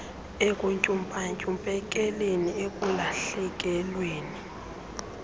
ekuntyumpa ntyumpekeni ekulahlekelweni